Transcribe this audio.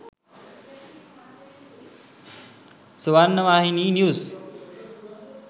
swarnavahini news